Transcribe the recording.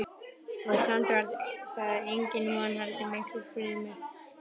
Og samt var það engin von heldur miklu fremur tálsýn.